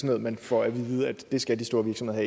noget man får at vide at det skal de store virksomheder